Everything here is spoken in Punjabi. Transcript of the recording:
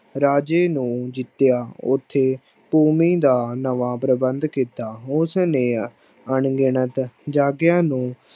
ਰਾਜੇ ਨੂੰ ਜਿੱਤਿਆ ਉੱਥੇ ਭੂਮੀ ਦਾ ਨਵਾਂ ਪ੍ਰਬੰਧ ਕੀਤਾ, ਉਸਨੇ ਅਣਗਿਣਤ ਜਾਗੀਰਾਂ ਨੂੰ